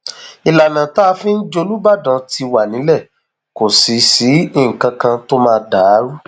ìlànà tá a fi ń jòlúbàdán ti wà nílẹ kò sì sí nǹkan kan tó máa dà á rú